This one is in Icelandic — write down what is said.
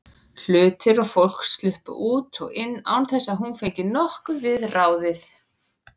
Hlutir og fólk sluppu út og inn án þess að hún fengi nokkuð við ráðið.